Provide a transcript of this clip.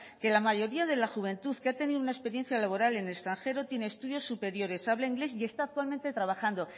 que la mayoría de la juventud que ha tenido una experiencia laboral en el extranjero tiene estudios superiores habla inglés y está actualmente trabajando